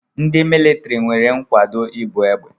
Ndị militiri nwere nkwado ibu egbe.